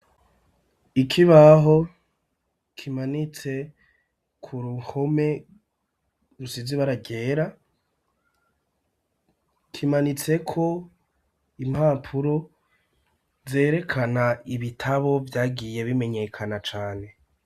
Ikibaho kimanitse ku ruhome rusize ibara ryera, kimanitseko impapuro zerekana ibitabo vyagiye bimenyekana cane.